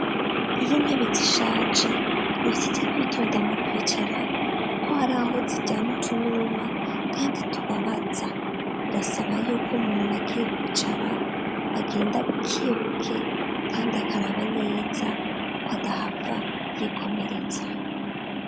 Iyo intebe zishaje ni ivyiza kwitonda mu kwicara, kuko hari aho ziryana utunuma, kandi tubabaza birasaba yuko umuntu agiye kwicara agenda buke buke, kandi akaraba neza ko adahava yikomeretsa.